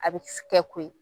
A bɛ s kɛ koyi